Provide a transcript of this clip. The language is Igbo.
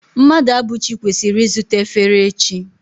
Mmadụabụchi kwesiri izuta efere echi